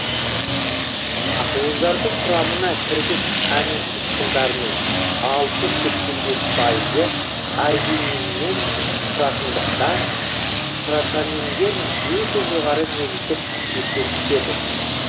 ақуыздардың құрамына кіргіш амин қышқылдарының алпыс сексен бес пайы аргининнен тұратындықтан протаминдер өте жоғарғы негіздік қасиет көрсетеді